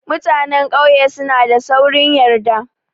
Mutanan ƙauye suna da saurin yarda.